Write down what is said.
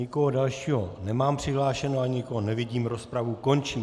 Nikoho dalšího nemám přihlášeného, ani nikoho nevidím, rozpravu končím.